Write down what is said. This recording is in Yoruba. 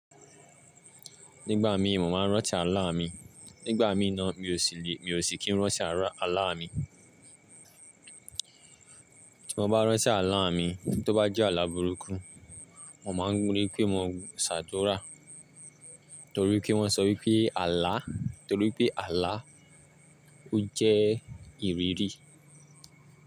Nígbà mi mo máa ń rántí Àlá mi. Nígbà mí nà mí ò sí lè, mi ò sí kí ń rántí Àlá mi. Tí mo bá rántí Àlá mi, tó bá jẹ́ Àlá burúkú, mo máa ń ri pé mo ń ṣàdúrà. Nítorí pé wọ́n sọ wípé Àlá, nítorí pé Àlá ó jẹ́ ìrírí.